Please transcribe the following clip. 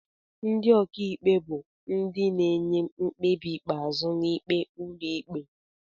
Ndị ọkaikpe bụ ndị na-enye mkpebi ikpeazụ na ikpe ụlọikpe.